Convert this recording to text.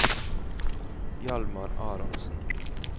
Hjalmar Aronsen